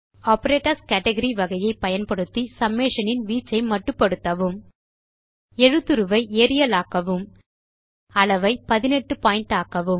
operators category வகையை பயன்படுத்தி summation இன் வீச்சை மட்டுப்படுத்தவும் எழுத்துருவை ஏரியல் ஆக்கவும் அளவை 18 பாயிண்ட் ஆக்கவும்